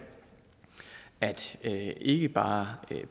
at ikke bare